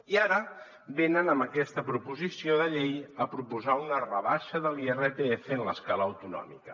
i ara venen amb aquesta proposició de llei a proposar una rebaixa de l’irpf en l’escala autonòmica